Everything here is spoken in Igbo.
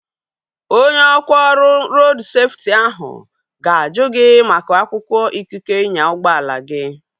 Onye ọkwá ọrụ rodu seftị ahu ga-ajụ gị maka akwụkwọ ikike ịnya ụgbọala gi